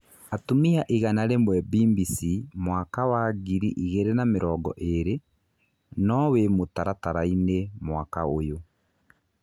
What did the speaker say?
Atumia igana rĩmwe Mbimbisi mwaka wa ngiri igĩrĩ na mĩrongo ĩrĩ: No wĩ mũtaratara-inĩ mwaka ũyũ ?